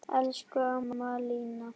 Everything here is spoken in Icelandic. Elsku amma Lína.